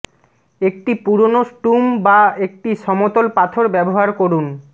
একটি পুরানো স্টুম বা একটি সমতল পাথর ব্যবহার করুন